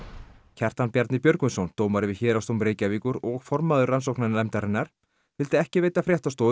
Kjartan Bjarni Björgvinsson dómari við Héraðsdóm Reykjavíkur og formaður rannsóknarnefndarinnar vildi ekki veita fréttastofu